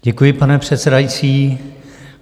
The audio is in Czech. Děkuji, pane předsedající.